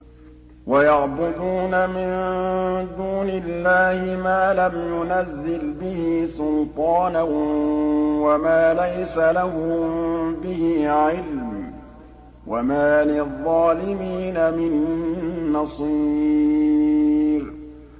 وَيَعْبُدُونَ مِن دُونِ اللَّهِ مَا لَمْ يُنَزِّلْ بِهِ سُلْطَانًا وَمَا لَيْسَ لَهُم بِهِ عِلْمٌ ۗ وَمَا لِلظَّالِمِينَ مِن نَّصِيرٍ